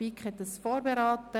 Die BiK hat ihn vorberaten.